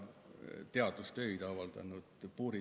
Olen ka teadustöid avaldanud.